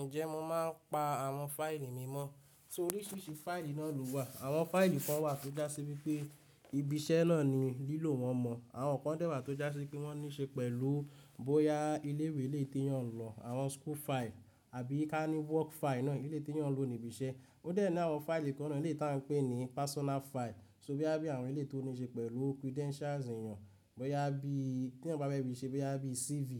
Ǹjẹ́ mo máa ń pa àwọn fáìlì mi mọ́? Nítorí ṣíṣí fáìlì náà ló wà. Àwọn fáìlì kan wà tó jásí wípé ibi iṣẹ́ náà ni lílò wọn mọ́. Àwọn ọ̀kan dẹ́ ẹ wà tó jásí kí wọ́n ní ṣe pẹ̀lú bóyá ilé ìwé lè tí yàn lọ, àwọn file ilé ìwé àbí ká ní fili iṣẹ́ náà eléyi tí eyàn lò ní ibi iṣẹ́. Ó dẹ̀ náà àwọn fáìlì kan náà ni létí à ń pè ní fáìlì ti ara ẹni. So bóyá bí àwọn éleyi tó ní ṣe pẹ̀lú credentials èèyàn, bóyá bí tí wọ́n bá bẹ́ẹ̀ bí i ṣe, bóyá bí CV,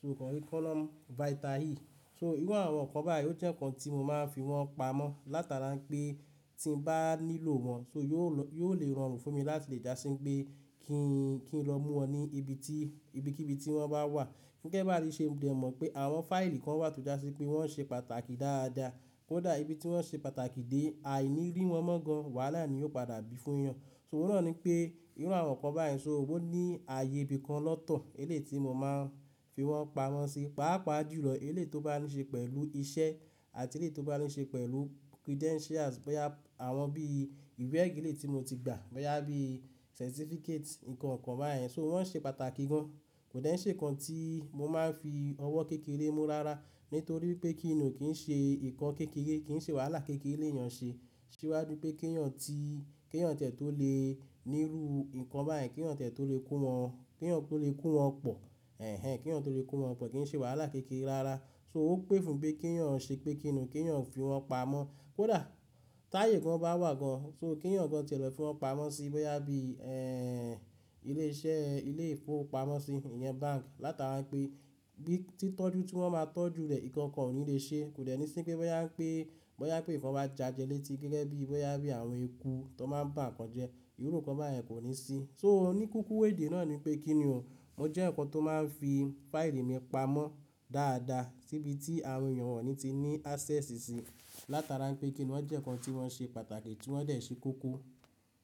so ọ̀kan curriculum vitae. So irú àwọn ǹkan báyìí ó jẹ́ ǹkan tí mo máa ń fi wọ́n pamọ́ látara pé tí mo bá nílò wọn, yóò le ràn run fún mi láti lè jásí pé kí n lọ mú wọn ní ibi tí, ibikíbi tí wọ́n bá wà. Gẹ́gẹ́ bá ti ṣe mọ̀ pé àwọn fáìlì kan wà tó jásí pé wọ́n ṣe pàtàkì dáadáa. Kódà ibi tí wọ́n ṣe pàtàkì dé, aìní rí wọn mọ́ gan wàhálà ni yóò padà bí fún èèyàn. So òun náà ni pé irú àwọn ǹkan báyìí, so owó ní ààyè ibi kan lọ́tọ̀ elé tí mo máa ń fi wọ́n pamọ́ síi, pàápàá jùlọ elé tó bá ní ṣe pẹ̀lú iṣẹ́ àti elé tó bá ní ṣe pẹ̀lù credentials bóyá àwọn bí ìwé ẹ̀gílée tí mo ti gbà, bóyá bí certificate nǹkan kan báyen, so wọ́n ṣe pàtàkì gan. Kò dẹ́n ṣe ǹkan tí mo máa ń fi ọwọ́ kékeré mú rárá nítorí pé kí ni ò kí n ṣe ǹkan kékeré, kí n ṣe wàhálà kékeré lèyàn ṣe. Síwájú pé kí èèyàn tí, kí èèyàn tẹ̀ tó lè nírú ǹkan báyìí, kí èèyàn tẹ̀ tó lè kó wọn, kí èèyàn tó lè kó wọn pọ̀, ẹhn, kí èèyàn tó lè kó wọn pọ̀ kí n ṣe wàhálà kékeré rárá. So ó pẹ́ fún bí kí èèyàn ṣe pé kí ni ò kí ẹ̀yàn fi wọn pamọ́. Kódà táyè gan bá wà gan, so kí ẹ̀yàn gan tẹ̀ lọ fi wọn pamọ́ síi bóyá bí, ẹh, ilé iṣẹ́, ilé ìfowópamọ́sí, ìyẹn báǹkì látara pé bí tí tọ́jú tí wọ́n máa tọ́jú rẹ̀, ǹkan kan ò ní lè ṣe. Kò dẹ́ni sí pé bóyá pé, bóyá pé ìfọ̀n bá jájẹ létí gẹ́gẹ́ bí bóyá bí àwọn eku tó máa ń gbà ǹkan jẹ, irú ǹkan báyìí kò ní sí. So oníkíkú ìwé ìdí náà ni pé kí ni ò, mo jẹ́ ǹkan tó máa ń fi fáìlì mi pamọ́ dáadáa síbi tí àwọn èèyàn wọ̀nyí ti ní access síi látara pé kí ni wọ́n jẹ́ ǹkan tí wọ́n ṣe pàtàkì tí wọ́n dẹ̀ ṣé kúkú.